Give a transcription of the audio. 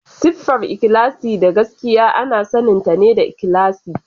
Siffar ikhlasi da gaskiya ana saninta da ikhlasi.